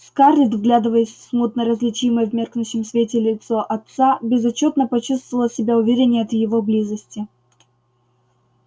скарлетт вглядываясь в смутно различимое в меркнущем свете лицо отца безотчётно почувствовала себя увереннее от его близости